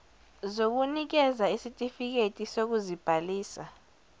zokunikeza isitifiketi sokuzibhalisa